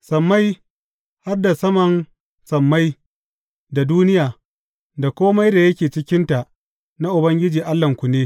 Sammai, har da sama sammai, da duniya, da kome da yake cikinta na Ubangiji Allahnku ne.